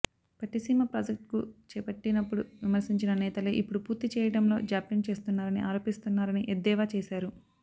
Pattiseema project చేపట్టినప్పుడు విమర్శించిన నేతలే ఇప్పుడు పూర్తి చేయడంలో జాప్యం చేస్తున్నారని ఆరోపిస్తున్నారని ఎద్దేవా చేశారు